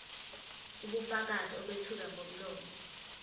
ubufakazi obethulwa ngomlomo